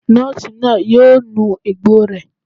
Nọ́ọ̀sì náà yóò nu egbò rẹ̀